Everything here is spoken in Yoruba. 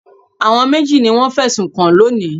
Àwọn méjì ni wọ́n fẹ̀sùn kàn lónìí.